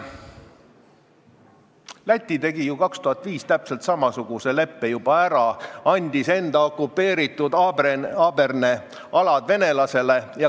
Läti tegi ju 2005 täpselt samasuguse leppe ära ja andis okupeeritud Abrene alad venelastele.